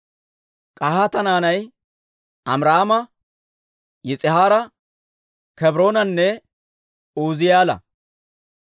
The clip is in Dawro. K'ahaata naanay Amiraama, Yis'ihaara, Kebroonanne Uuzi'eela.